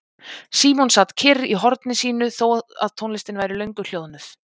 Símon sat kyrr í horni sínu þó að tónlistin væri löngu hljóðnuð.